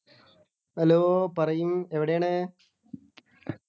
hello പറയിൻ എവിടെയാണ്